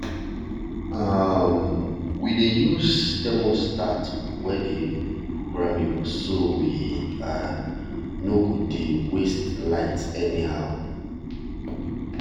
um we dey use thermostat wey dey programmable so we um no go dey waste light anyhow.